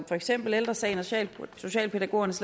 for eksempel ældre sagen og socialpædagogernes